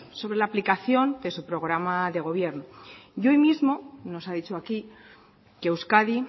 sobre la aplicación de su programa de gobierno y hoy mismo nos ha dicho aquí que euskadi